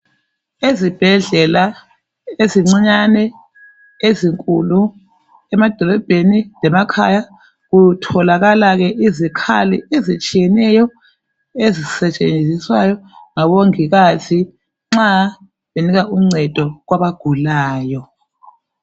Ezibhedlela ezincinyane, ezinkulu emadolobheni , lemakhaya kutholakala izikhali ke ezitshiyeneyo ezisetshenziswayo ngabongikazi nxa benika uncedo kwabagulayo.